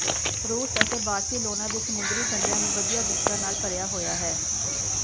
ਰੂਸ ਅਤੇ ਬਾਰਸਿਲੋਨਾ ਦੇ ਸਮੁੰਦਰੀ ਕੰਢਿਆਂ ਨੂੰ ਵਧੀਆ ਬੀਚਾਂ ਨਾਲ ਭਰਿਆ ਹੋਇਆ ਹੈ